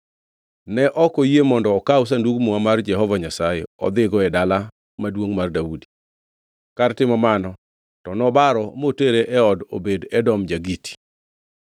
Ne ok oyie mondo okaw Sandug Muma mar Jehova Nyasaye odhigo e Dala Maduongʼ mar Daudi. Kar timo mano to nobaro motere e od Obed-Edom ja-Giti.